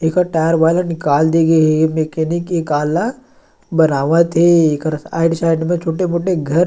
एक टायर वाले निकाल दे गे हे एक मैकेनिक काला बनावत हे एकर साइड साइड में छोटे - मोटे घर --